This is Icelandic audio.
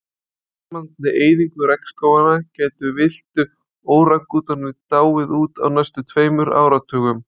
Með áframhaldandi eyðingu regnskóganna gætu villtir órangútanar dáið út á næstu tveimur áratugum.